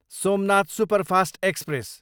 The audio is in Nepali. Somnath superfast express